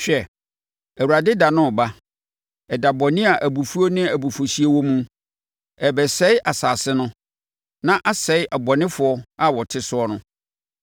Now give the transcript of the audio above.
Hwɛ, Awurade da no reba ɛda bɔne a abufuo ne abufuhyeɛ wɔ mu, ɛrebɛsɛe asase no na asɛe abɔnefoɔ a wɔte soɔ no.